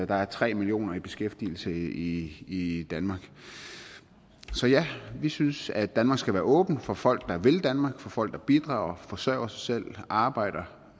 der er tre millioner i beskæftigelse i i danmark så ja vi synes at danmark skal være åbent for folk der vil danmark for folk der bidrager og forsørger sig selv og arbejder